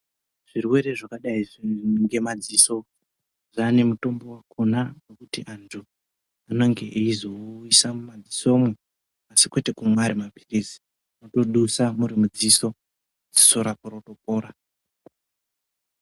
Zvirwere zvakadai izvii ngemadziso zvaane mitombo wakona wekuti wandu anenge eyizowuyusa mudziso umwo kwete kumwa ari mapiritsi wotodusa murimu dziso dziso rako rotopora.